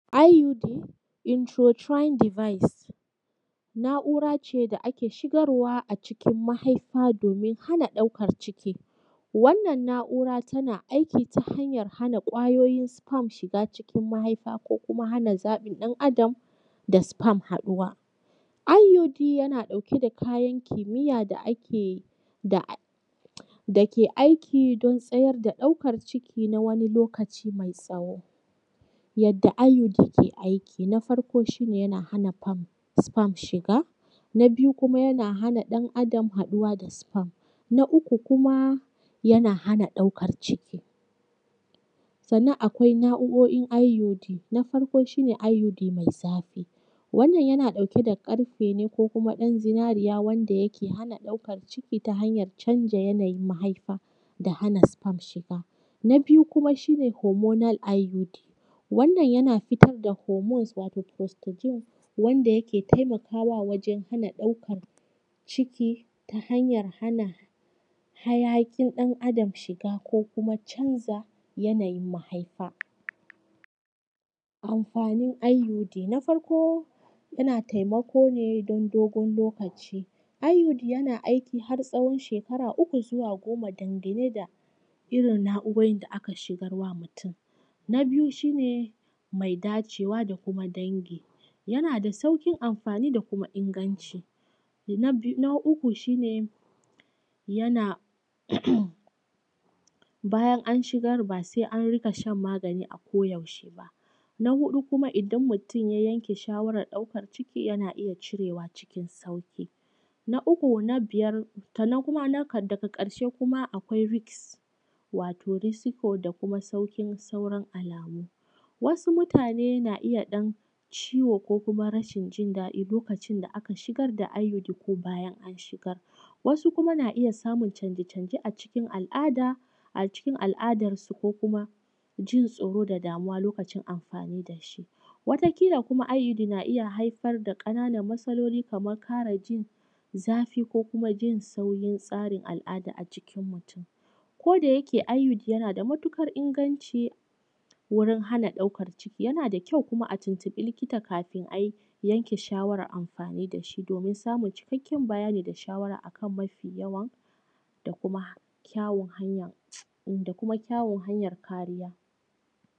Iud introtrine device na’ura ce da ake shigarwa a cikin mahaifa domin hana ɗaukar ciki. Wannnan na’ura tana aiki ta hanyan hana ƙwayoyin sperm shiga cikin mahaifa ko kuma hana zaɓin ɗan Adam da sperm haɗuwa. Iud yana ɗauke da kayan kimiyya da ke aiki don tsayar da ɗaukar ciki na wani lokaci mai tsawo. Yadda iud ke aiki. Na farko shi ne yana hana sperm shiga. Na biyu kuma yana hana hana ɗan Adam haɗuwa da sparm. Na uku kuma yana hana ɗaukan ciki. Sannan akwai na’urorin iud. Na farko shi ne iud mai zafi. Wannan yana ɗauke da ƙarfe ne, ko kuma ɗan zinariya, wanda yake hana ɗaukan ciki ta hanyan canja yanayin mahaifa da hana sperm shiga. Na biyu kuma shi ne hormonal iud. Wannan yan fitar da hormons wato prostogen wanda yake taimakwa wajan hana ɗaukan ciki ta hanyan hana hayaƙin ɗan Adam shiga, ko kuma canza yanayin mahaifa. Amfanin iud. Na farko yana taimako ne don dogon lokaci. Iud yana aiki har tsawon shekara uku zuwa goma dangane da irin na’urorin da aka shigar wa mutum. Na biyu shi ne mai dace wa da kuma dangi yana da sauƙin amfani, da kuma inganci. Na uku shi ne yana bayan an shigar ba sai an riƙa shan magani a koyaushe ba. Na huɗu kuma idan mutum ya yanke shawarar ɗaukan ciki yana iya cirewa cikin sauƙi. Na biyar sannan kuma na da ƙarshe kuma risk wato risky da kuma sauƙin sauran alamu. Wasu mutane na iya ɗan ciwo ko kuma rashin jindaɗi lokacin da aka shigar da iud, ko bayan an shigar. Wasu kuma na iya samun canje canje a cikin al’ada. A cikin al’adar su ko kuma jin tsoro da damuwa lokacin amfani da shi. Wata ƙila kuma iud na iya haifar da ƙananan matsaloli kaman ƙarajin zafi ko kuma jin saurin tsarin al’ada a jikin mutum. Koda yake iud yana da matuƙar inganci wurin hana ɗaukan ciki, yana da kyau kuma a tuntubi likita kafin a yanke shawarar amfani da shi domin samun cikakken bayani da shawara akan mafi yawa da kuma kyawun hanya kariya.